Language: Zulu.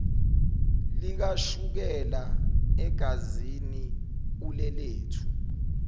likashukela egazini ulelethu